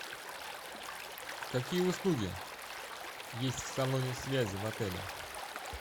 какие услуги есть в салоне связи в отеле